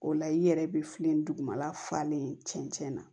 O la i yɛrɛ bɛ fili dugumana falen cɛn na